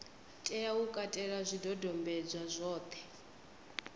tea u katela zwidodombedzwa zwothe